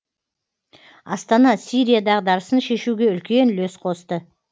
астана сирия дағдарысын шешуге үлкен үлес қосты